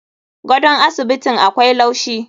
Gadon asibitin akwai laushi.